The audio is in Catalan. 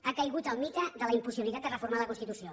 ha caigut el mite de la impossibilitat de reformar la constitució